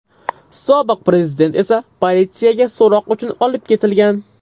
Sobiq prezident esa politsiyaga so‘roq uchun olib ketilgan.